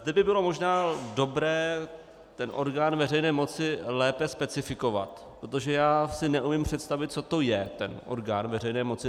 Zde by bylo možná dobré ten orgán veřejné moci lépe specifikovat, protože já si neumím představit, co to je, ten orgán veřejné moci.